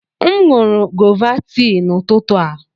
M nụrụ gọva tii n'ụtụtụ a.